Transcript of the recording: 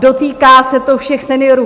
Dotýká se to všech seniorů.